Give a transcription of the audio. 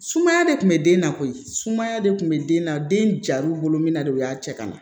Sumaya de kun bɛ den na koyi sumaya de kun bɛ den na den jar'u bolo min na de u y'a cɛ ka na